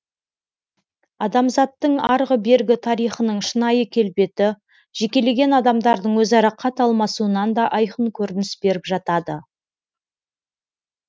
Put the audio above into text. адамзаттың арғы бергі тарихының шынайы келбеті жекелеген адамдардың өзара хат алмасуынан да айқын көрініс беріп жатады